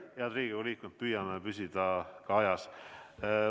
Head Riigikogu liikmed, püüame püsida ajas.